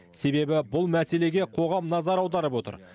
себебі бұл мәселеге қоғам назар аударып отыр